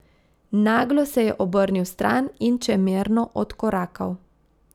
Naglo se je obrnil stran in čemerno odkorakal.